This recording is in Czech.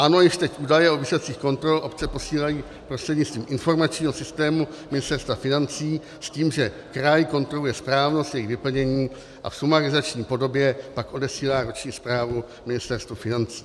Ano, již teď údaje o výsledcích kontrol obce posílají prostřednictvím informačního systému Ministerstva financí s tím, že kraj kontroluje správnost jejich vyplnění a v sumarizační podobě pak odesílá roční zprávu Ministerstvu financí.